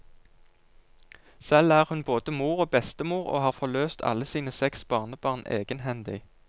Selv er hun både mor og bestemor, og har forløst alle sine seks barnebarn egenhendig.